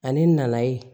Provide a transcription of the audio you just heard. Ani nayi